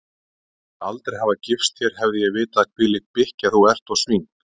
Ég mundi aldrei hafa gifst þér hefði ég vitað hvílík bikkja þú ert og svín